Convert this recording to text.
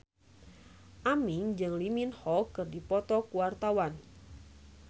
Aming jeung Lee Min Ho keur dipoto ku wartawan